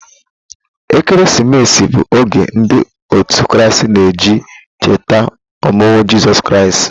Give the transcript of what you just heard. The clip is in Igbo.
Ekeresimesi bụ oge ndị òtù Kraịst na-eji echeta ọmụmụ Jizọs Kraịst.